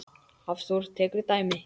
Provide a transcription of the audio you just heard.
Hafþór tekur dæmi.